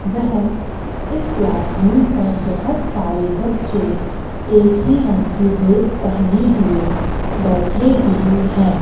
वह इस classroom पर बहोत सारे बच्चे एक ही रंग की ड्रेस पहने हुए बैठे हुए हैं।